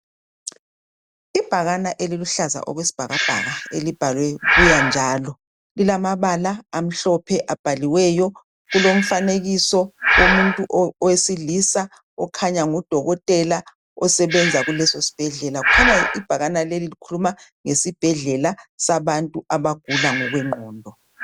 Ibhakane eliluhlaza okwesibhakabhaka elibhalwe buya njalo. Lilamabala amhlophe abhaliweyo kulomfanekiso womuntu wesilisa okhanya ngudokotela osebenza kulesosibhedlela. Kukhanya ibhakane leli likhuluma ngesibhedlela sabantu abagula ngokwengqondo.